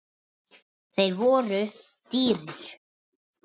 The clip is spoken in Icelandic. Þeir voru dýrir.